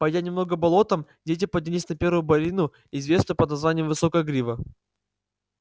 пойдя немного болотом дети поднялись на первую борину известную под названием высокая грива